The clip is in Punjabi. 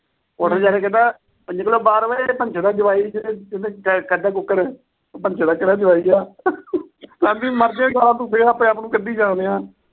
ਉਥੇ ਜਾ ਕੇ ਕਹਿੰਦਾ। ਭੰਜੂ ਦਾ ਭੰਜੂ ਦਾ ਜਵਾਈ ਏ ਤੇ ਕੱਢੋ ਕੁੱਕੜ। ਭੰਜੂ ਦਾ ਕਿਹੜਾ ਜਵਾਈ ਏ। ਕਹਿੰਦੀ ਮਰ ਜਾਏਗਾ ਆਪਣੇ-ਆਪ ਨੂੰ ਕੱਢੀ ਜਾ ਰਿਹਾ।